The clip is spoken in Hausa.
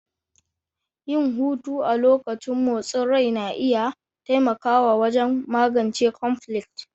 Yin hutu a lokacin motsin rai na iya taimakawa wajen magance cnflicts